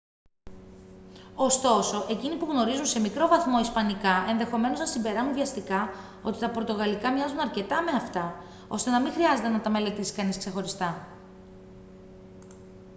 ωστόσο εκείνοι που γνωρίζουν σε μικρό βαθμό ισπανικά ενδεχομένως να συμπεράνουν βιαστικά ότι τα πορτογαλικά μοιάζουν αρκετά με αυτά ώστε να μην χρειάζεται να τα μελετήσει κανείς ξεχωριστά